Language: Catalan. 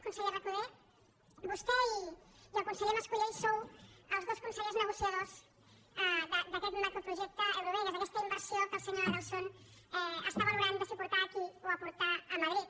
conseller recoder vostè i el conseller mas colell sou els dos consellers negociadors d’aquest macroprojecte eurovegas d’aquesta inversió que el senyor adelson està valorant de si portar aquí o portar a madrid